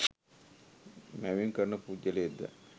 මැවීම් කරන පුද්ගලයෙක්ද?